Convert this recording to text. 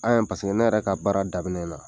An' ye paseke ne yɛrɛ ka baara daminɛ na